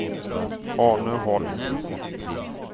Arne Holm